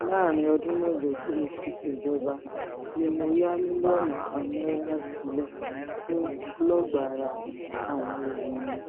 láàrin ọdún mẹ́jọ tí mo fi ṣèjọba ni mo ya mílíọ̀nù kan náírà sílẹ̀ fún ọlọ́gbárà àwọn obìnrin